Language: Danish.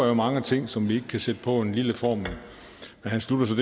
jo mange ting som vi kan sætte på en lille formel han slutter så